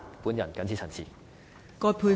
我謹此陳辭。